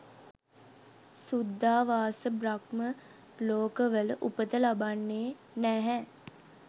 සුද්ධාවාස බ්‍රහ්ම ලෝකවල උපත ලබන්නේ නැහැ.